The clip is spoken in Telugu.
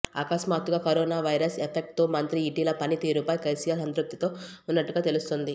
అకస్మాత్తుగా కరోనా వైరస్ ఎఫెక్ట్ తో మంత్రి ఈటెల పనితీరుపై కేసీఆర్ సంతృప్తితో ఉన్నట్టుగా తెలుస్తోంది